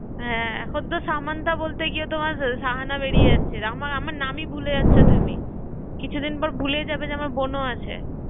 হ্যাঁ এখন তো সামান্থা বলতে গিয়েও তোমার সাহানা বেরিয়ে যাচ্ছে আমার আমার নামই ভুলে যাচ্ছ তুমি, কিছু দিন পর ভুলেই যাবে যে আমার বোনও আছে